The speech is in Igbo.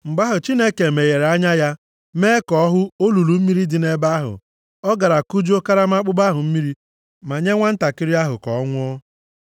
Mgbe ahụ, Chineke meghere anya ya, mee ka ọ hụ olulu mmiri dị nʼebe ahụ. Ọ gara kujuo karama akpụkpọ ahụ mmiri, ma nye nwantakịrị ahụ mmiri ka ọ ṅụọ.